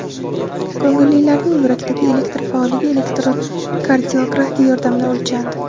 Ko‘ngillilarning yurakdagi elektr faolligi elektrokardiografiya yordamida o‘lchandi.